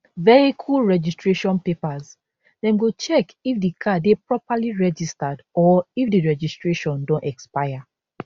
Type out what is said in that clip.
vehicle registration papers dem go check if di car dey properly registered or if di registration don expire